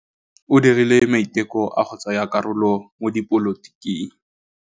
O dirile maitekô a go tsaya karolo mo dipolotiking.